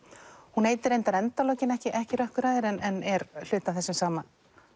hún heitir reyndar endalokin ekki ekki Rökkurhæðir en er hluti af þessum sama